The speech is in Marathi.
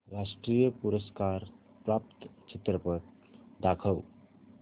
राष्ट्रीय पुरस्कार प्राप्त चित्रपट दाखव